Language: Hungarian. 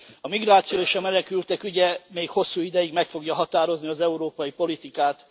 A migráció és a menekültek ügye még hosszú ideig meg fogja határozni az európai politikát.